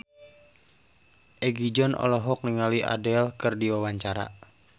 Egi John olohok ningali Adele keur diwawancara